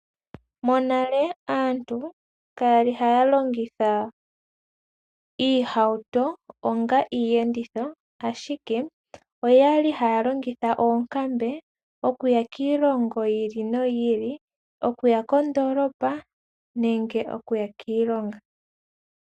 Monale aantu kaya li haya longitha iihauto onga iiyenditho, ashike oya li haya longitha oonkambe okuya kiilongo yi ili noyi ili, okuya kondoolopa nenge okuya kiilonga.